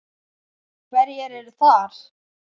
Hverjir eru þar?